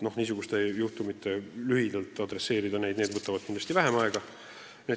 Niisugused juhtumid võtavad kindlasti vähem aega.